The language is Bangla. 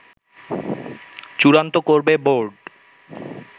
চূড়ান্ত করবে বোর্ড